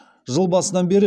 жыл басынан бері